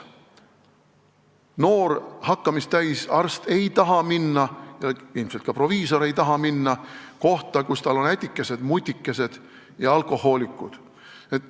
Noor hakkamist täis arst ei taha minna, ilmselt ka proviisor ei taha minna kohta, kus tal on ätikesed-mutikesed ja alkohoolikud.